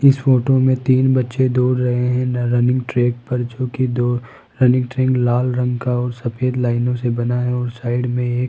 इस फोटो में तीन बच्चे दौड़ रहे हैं रनिंग ट्रैक पर जो कि दो रनिंग ट्रैक लाल रंग का और सफेद लाइनों से बना है और साइड में ए --